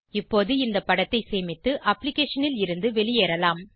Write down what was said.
இப்போது இந்த படத்தை சேமித்து அப்ளிகேஷனில் இருந்து வெளியேறலாம்